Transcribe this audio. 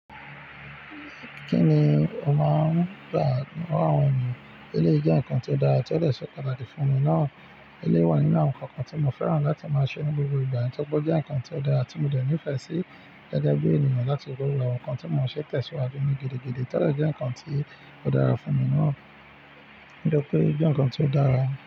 Kí ni o máa ń gbà wá àwọn ènìyàn? Elé jẹ́ nǹkan tó dára tí ó dẹ̀ ṣe pàtàkì fún mí náà. Elé wà nínú àwọn nǹkan kan tí mo fẹ́ràn láti máa ṣe ní gbogbo ìgbà, nítorí pé ó jẹ́ nǹkan tí ó dára tí mo dẹ ní ìfẹ́ sí gẹ́gẹ́ bí ènìyàn láti rí wà. Awọn nǹkan tí mo ṣẹ̀ tẹ̀síwájú ni gidi, gidi, to dẹ́ nǹkan tí ó dára fún mi náà. Nitori pé ó jẹ́ nǹkan tí ó dára.